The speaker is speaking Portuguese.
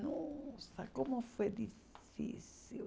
Nossa, como foi difícil.